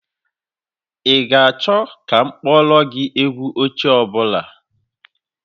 Ị ga-achọ ka m kpọọrọ gị egwu ochie ọ bụla?